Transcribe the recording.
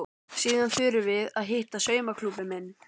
Síðan förum við að hitta saumaklúbbinn minn.